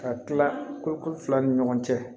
Ka tila ko fila ni ɲɔgɔn cɛ